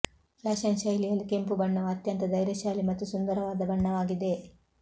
fashion ಶೈಲಿಯಲ್ಲಿ ಕೆಂಪು ಬಣ್ಣವು ಅತ್ಯಂತ ಧೈರ್ಯಶಾಲಿ ಮತ್ತು ಸುಂದರವಾದ ಬಣ್ಣವಾಗಿದೆ